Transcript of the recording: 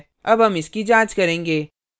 अब हम इसकी जाँच करेंगे